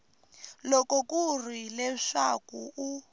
loko ku ri leswaku u